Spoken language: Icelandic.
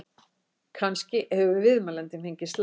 Kannski hefur viðmælandinn fengið slag?